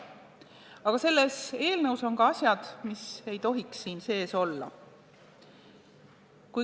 Aga selles eelnõus on ka asjad, mis ei tohiks siin sees olla.